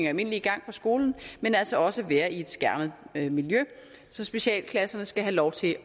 almindelige gang på skolen men altså også være i et skærmet miljø så specialklasserne skal have lov til